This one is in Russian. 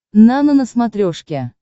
нано на смотрешке